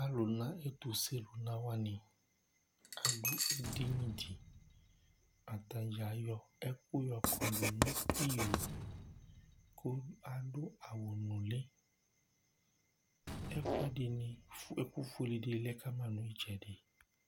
alò na ɛto se luna wani adu edini di atadza ayɔ ɛkò yɔ kɔdu no iyo kò adu awu nuli ɛkò ɛdini ɛkò fue di ni lɛ kama no itsɛdi